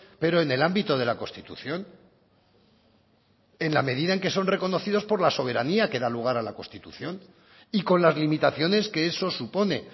pero en el ámbito de la constitución en la medida que son reconocidos por la soberanía que da lugar a la constitución y con las limitaciones que eso supone